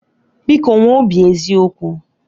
Biko nwee obi eziokwu